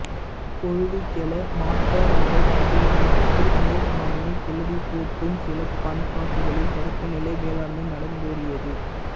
கொழுவுக்கௌ மாற்ரக பன்றிகளை விட்டு மேல்மண்ணைக் கிளறிப்போட்டும் சில பண்பாடுகளில் தொடக்கநிலை வேளாண்மை நடந்தேறியது